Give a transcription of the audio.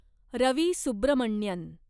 Ravi Subramanian